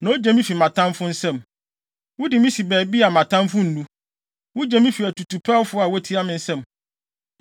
na ogye me fi mʼatamfo nsam. Wode me si baabi a mʼatamfo nnu, wugye me fi atutuwpɛfo a wotia me nsam.